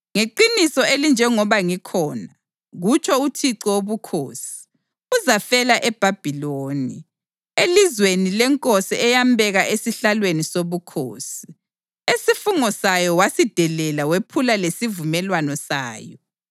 Ngeqiniso elinjengoba ngikhona, kutsho uThixo Wobukhosi, uzafela eBhabhiloni, elizweni lenkosi eyambeka esihlalweni sobukhosi, esifungo sayo wasidelela wephula lesivumelwano sayo.